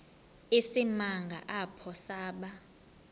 isimanga apho saba